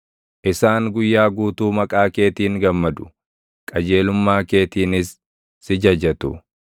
Isaan guyyaa guutuu maqaa keetiin gammadu; qajeelummaa keetiinis si jajatu.